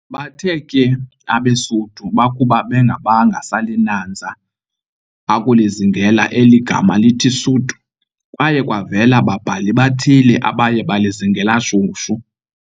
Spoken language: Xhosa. Bathe ke abeSuthu bakuba bengabanga salinanza akulizingela eli gama lithi "Suthu," kwayakwavela babhali bathile abaye balizingela shushu.